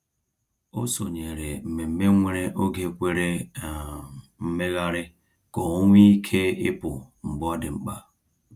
O sonyeere mmemme nwere oge kwere um mmegharị ka o nwe ike ịpụ mgbe ọ dị mkpa.